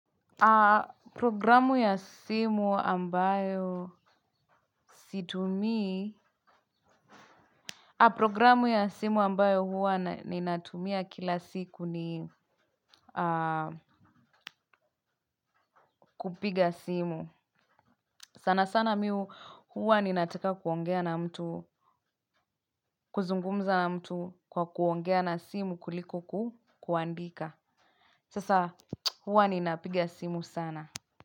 Programu ya simu ambayo situmii. Programu ya simu ambayo huwa ninatumia kila siku ni kupiga simu sana sana mimi huwa ninataka kuongea na mtu. Kuzungumza na mtu kwa kuongea na simu kuliko kuandika. Sasa huwa ninapiga simu sana.